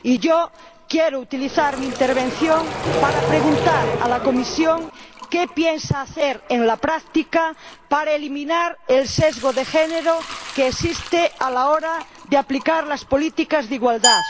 Yo quiero utilizar mi intervención para preguntar a la Comisión ¿qué piensa hacer en la práctica para eliminar el sesgo de género que existe a la hora de aplicar las políticas de igualdad?